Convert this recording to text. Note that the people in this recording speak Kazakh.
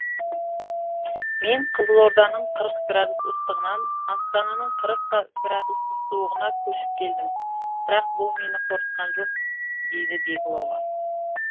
мен қызылорданың қырық градус ыстығынан астананың қырық градус суығына көшіп келдім бірақ бұл мені қорқытқан жоқ дейді беглова